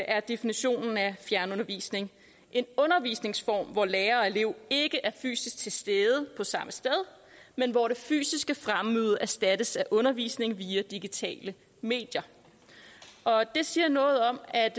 er definitionen af fjernundervisning en undervisningsform hvor lærer og elev ikke er fysisk til stede på samme sted men hvor det fysiske fremmøde erstattes af undervisning via digitale medier det siger noget om at